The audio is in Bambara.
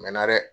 Mɛ na dɛ